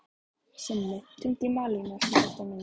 Simmi, hringdu í Malínu eftir þrettán mínútur.